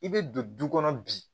I bɛ don du kɔnɔ bi